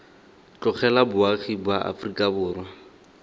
tlogela boagi ba aforika borwa